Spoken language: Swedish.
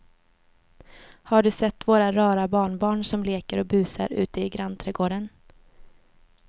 Har du sett våra rara barnbarn som leker och busar ute i grannträdgården!